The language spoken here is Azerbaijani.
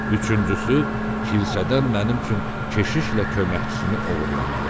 Üçüncüsü, kilsədən mənim üçün keşişlə köməkçisini oğurlamalısan.